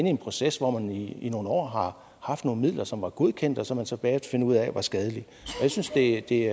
i en proces hvor man i nogle år har haft nogle midler som var godkendt og som man så bagefter fandt ud af var skadelige jeg synes det